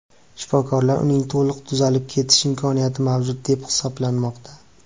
Shifokorlar uning to‘liq tuzalib ketish imkoniyati mavjud deb hisoblamoqda.